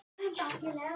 Marteinn gekk rösklega.